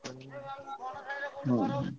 ହୁଁ।